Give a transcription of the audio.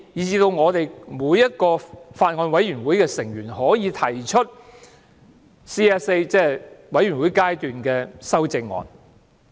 此外，每位法案委員會委員也可以提出 CSA， 即全體委員會審議階段修正案。